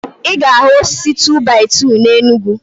I ga ahu osisi 2-by-2 na Enugu